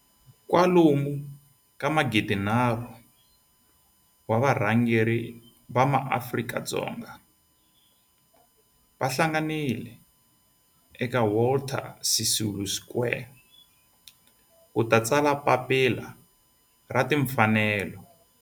Kwalomu ka magidi nharhu 3 000 wa varhangeri va maAfrika-Dzonga va hlanganile eka Walter Sisulu Square ku ta tsala Papila ra Tinfanelo.